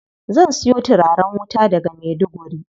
Zan siyo turaren wuta daga Maiduguri.